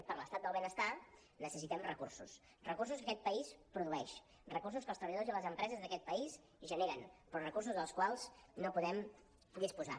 i per l’estat del benestar necessitem recursos recursos que aquest país produeix recursos que els treballadors i les empreses d’aquest país generen però recursos dels quals no podem disposar